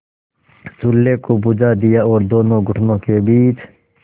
चूल्हे को बुझा दिया और दोनों घुटनों के बीच